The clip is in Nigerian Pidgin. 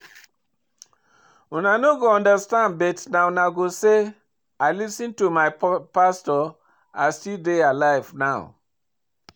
Una no go understand but na unto say I lis ten to my pastor I still dey alive now